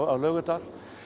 Laugardal